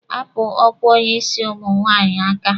Hapụ ọkwa onye isi ụmụ nwaanyị aka!